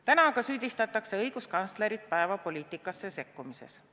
Täna aga süüdistatakse õiguskantslerit päevapoliitikasse sekkumises.